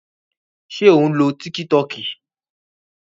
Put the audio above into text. Ṣé ò ń lo tíkí tọọkì?